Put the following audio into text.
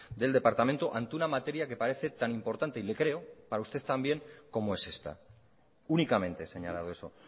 del departamento ante una materia que parece tan importante y le creo para usted también como es esta únicamente he señalado eso